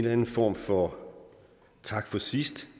anden form for tak for sidst